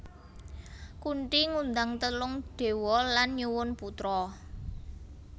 Kunthi ngundang telung dewa lan nyuwun putra